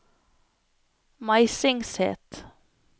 Meisingset